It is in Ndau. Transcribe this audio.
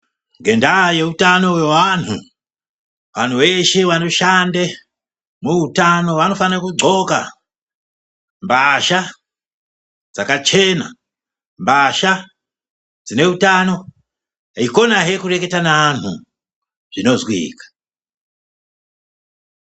Ngendaa yeutano hwevantu anhu eshe anoshanda muutano vanofane kudhxoka mbasha dzakachena ,mbasha dzine utano eikonahe kureketa neanhu zvinozwika.